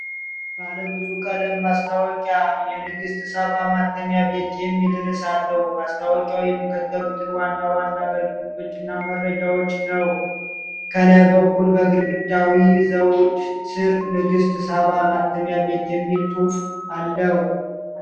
ባለብዙ ቀለም ማስታወቂያ "የንግሥት ሳባ ማተሚያ ቤት"የሚል ርዕስ አለው። ማስታወቂያው የሚከተሉትን ዋና ዋና አገልግሎቶች እና መረጃዎች ነው፡፡ ከላይ በኩል በግርግዳዊ ዘውድ ስር "ንግሥት ሳባ ማተሚያ ቤት" የሚል ጽሑፍ አለ።